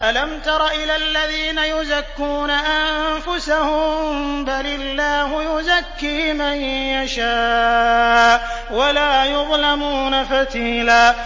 أَلَمْ تَرَ إِلَى الَّذِينَ يُزَكُّونَ أَنفُسَهُم ۚ بَلِ اللَّهُ يُزَكِّي مَن يَشَاءُ وَلَا يُظْلَمُونَ فَتِيلًا